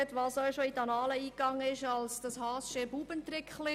Das ist auch schon als «Haassches Buebetrickli» in die Annalen eingegangen.